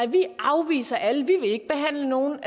de afviser alle de vil ikke behandle nogen